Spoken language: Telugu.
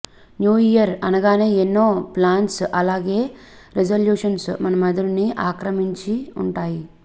న్యూ ఇయర్ అనగానే ఎన్నో ప్లాన్స్ ఆలాగే రిజల్యూషన్స్ మన మెదడుని ఆక్రమించి ఉంటాయి